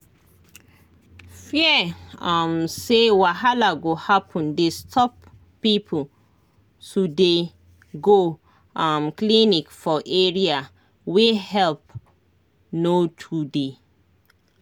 fear um say wahala go happen dey stop people to dey go um clinic for area wey help no to dey.